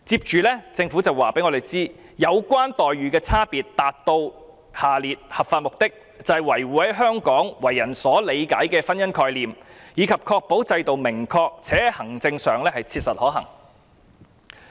政府亦表示，有關差別待遇能達到合法目的，並能維護在香港為人所理解的婚姻概念以及確保制度是明確及切實可行的。